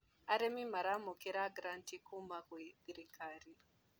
Arĩmi maramũkĩra granti kuma gwĩ thirikari.